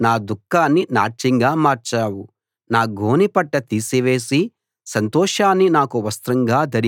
యెహోవా ఆలకించి నన్ను కరుణించు యెహోవా నాకు సహాయం చెయ్యి